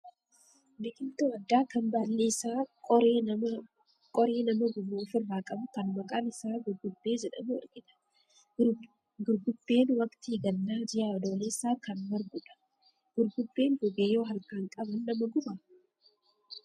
Biqiltuu addaa kan baalli isaa qoree nama gubu ofirraa qabu kan maqaan isaa gurgubbee jedhamu argina. Gurgubbeen waqtii gannaa, ji'a adoolessaa kan margu dha. Gurgubbeen goge yoo harkaan qaban nama gubaa?